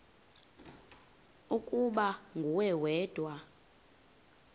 ukuba nguwe wedwa